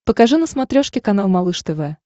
покажи на смотрешке канал малыш тв